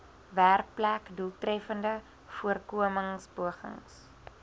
werkplek doeltreffende voorkomingspogings